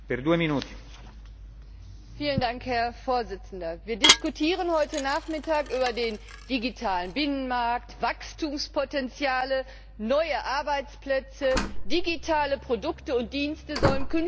Herr Präsident! Wir diskutieren heute Nachmittag über den digitalen Binnenmarkt, Wachstumspotenziale, neue Arbeitsplätze. Digitale Produkte und Dienste sollen künftig auch stärker aus Europa kommen.